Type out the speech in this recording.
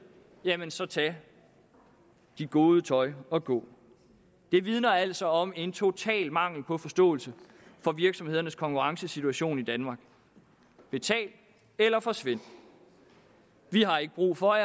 jamen så tag dit gode tøj og gå det vidner altså om en total mangel på forståelse for virksomhedernes konkurrencesituation i danmark betal eller forsvind vi har ikke brug for